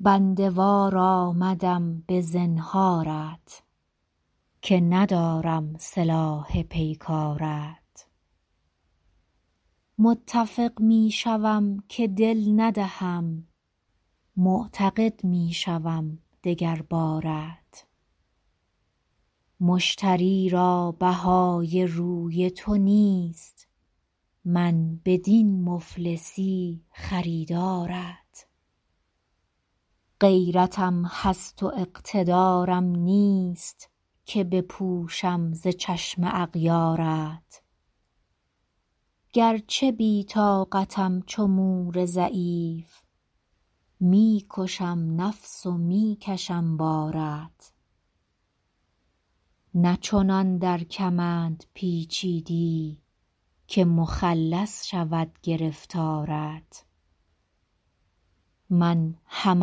بنده وار آمدم به زنهارت که ندارم سلاح پیکارت متفق می شوم که دل ندهم معتقد می شوم دگر بارت مشتری را بهای روی تو نیست من بدین مفلسی خریدارت غیرتم هست و اقتدارم نیست که بپوشم ز چشم اغیارت گرچه بی طاقتم چو مور ضعیف می کشم نفس و می کشم بارت نه چنان در کمند پیچیدی که مخلص شود گرفتارت من هم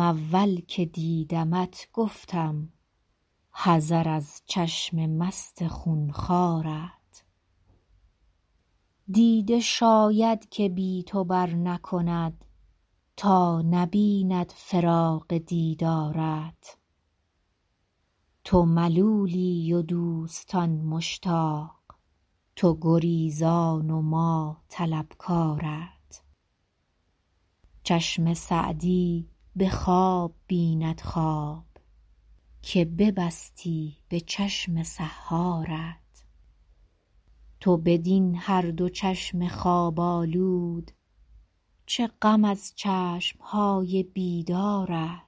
اول که دیدمت گفتم حذر از چشم مست خون خوارت دیده شاید که بی تو برنکند تا نبیند فراق دیدارت تو ملولی و دوستان مشتاق تو گریزان و ما طلبکارت چشم سعدی به خواب بیند خواب که ببستی به چشم سحارت تو بدین هر دو چشم خواب آلود چه غم از چشم های بیدارت